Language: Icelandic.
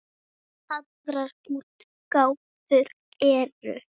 Aðrar útgáfur eru